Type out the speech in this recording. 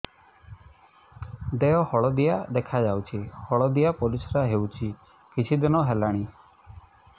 ଦେହ ହଳଦିଆ ଦେଖାଯାଉଛି ହଳଦିଆ ପରିଶ୍ରା ହେଉଛି କିଛିଦିନ ହେଲାଣି